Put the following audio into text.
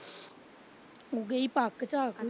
ਗਈ ਪੱਕ ਤਾਂ ਝਾਕਦੀ ਉਹਦੀ।